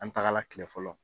An tagara tile fɔlɔ